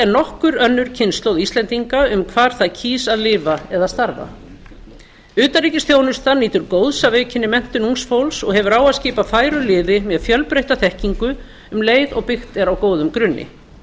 nokkur önnur kynslóð íslendinga um hvar það kýs að lifa eða starfa utanríkisþjónustan nýtur góðs af aukinni menntun ungs fólks og hefur á að skipa færu liði með fjölbreytta þekkingu um leið og byggt er á góðum grunni